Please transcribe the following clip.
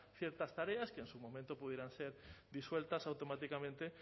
ciertas tareas que en su momento pudieran ser disueltas automáticamente